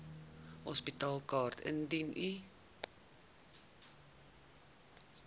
hospitaalkaart indien u